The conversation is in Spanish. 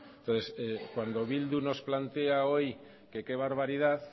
cuando bildu nos plantea hoy que qué barbaridad